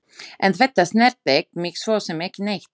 En þetta snertir mig svo sem ekki neitt.